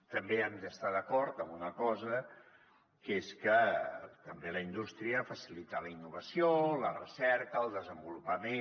també hem d’estar d’acord amb una cosa que és que també la indústria facilita la innovació la recerca el desenvolupament